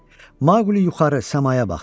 Maqli yuxarı səmaya baxdı.